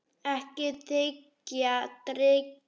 Ekki þiggja drykki.